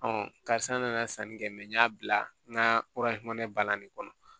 karisa n nana sanni kɛ n y'a bila n ka bana nin kɔnɔ